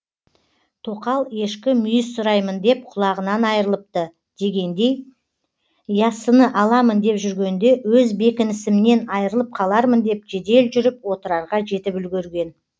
тоқал ешкі мүйіз сұраймын деп құлағынан айрылыпты дегендей яссыны аламын деп жүргенде өз бекінісімнен айрылып қалармын деп жедел жүріп отрарға жетіп үлгерген